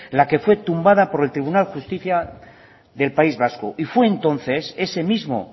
la que fue tumbada por el tribunal de justicia del país vasco y fue entonces ese mismo